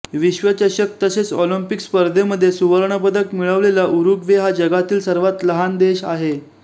विश्वचषक तसेच ऑलिंपिक स्पर्धेमध्ये सुवर्णपदक मिळवलेला उरुग्वे हा जगातील सर्वात लहान देश आहे